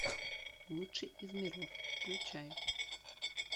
лучший из миров включай